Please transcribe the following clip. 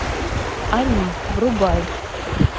они врубай